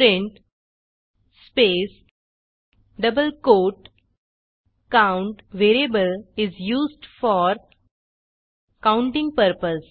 print space double quote count variable is used for counting purpose